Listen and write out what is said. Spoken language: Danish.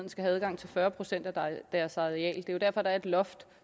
skal have adgang til fyrre procent af deres areal det er jo derfor der er et loft